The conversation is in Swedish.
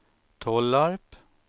Tollarp